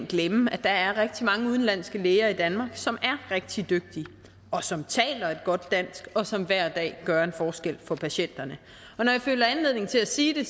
glemme at der er rigtig mange udenlandske læger i danmark som er rigtig dygtige og som taler et godt dansk og som hver dag gør en forskel for patienterne og når jeg føler anledning til at sige det